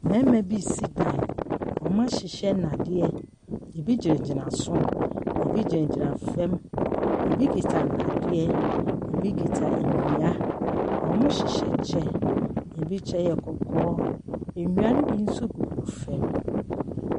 Mmarima bi ɛsi dan ɔmɔ ahyehyɛ ndadeɛ ebi gyina gyina so ebi gyina gyina fom ebi kuta dadeɛ ebi kuta ndua ɔmɔ hyehyɛ kyɛw ebi kyɛw yɛ kɔkɔɔ ndua no nso bi gugu fom.